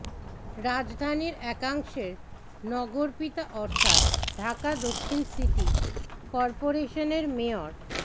রাজধানীর একাংশের নগরপিতা অর্থাৎ ঢাকা দক্ষিণ সিটি করপোরেশনের মেয়র